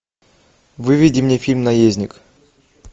выведи мне фильм наездник